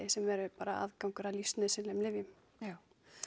sem eru bara aðgangur að lífsnauðsynlegum lyfjum já